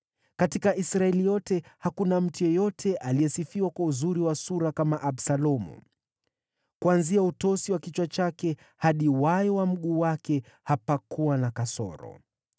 Katika Israeli yote hakuna mtu yeyote aliyesifiwa kwa uzuri wa sura kama Absalomu. Kuanzia utosi wa kichwa chake hadi wayo wa mguu wake hapakuwa na kasoro.